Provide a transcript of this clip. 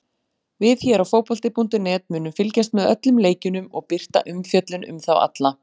Við hér á fótbolti.net munum fylgjast með öllum leikjunum og birta umfjöllun um þá alla.